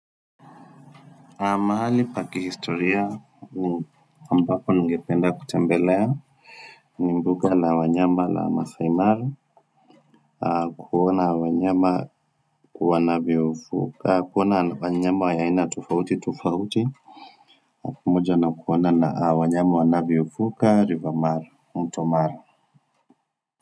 Mahali pa kihistoria ambako ningependa kutembelea ni mbuga la wanyama la Maasai Mara kuona wanyama wanavyovuka, kuona wanyama wenye aina tofauti tofauti pamoja na kuona na wanyama wanavyovuka river mara, mto mara.